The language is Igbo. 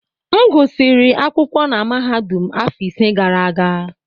M gụsịrị akwụkwọ na mahadum afọ ise gara aga